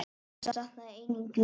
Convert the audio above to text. Hann safnaði einnig nýlist.